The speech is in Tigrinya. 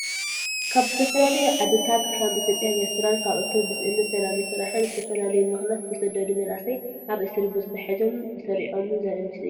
ካብ ዝተፈላለዩ ዓድታት ከም ኢትዮጵያን ኤርትራን ካልኦትን ብስእነት ሰላምን ስራሕን ብዝተፈላለዩ ምክንያት ዝተሰደዱ መናእሰይ ኣብ እሱሪ ቤት ተታሒዞም ተሰሪዖምን ዘርኢ ምስሊ እዩ።